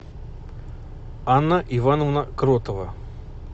анна ивановна кротова